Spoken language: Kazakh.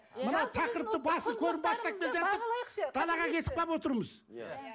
мынау тақырыпты далаға кетіп қалып отырмыз иә